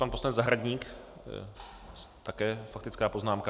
Pan poslanec Zahradník, také faktická poznámka.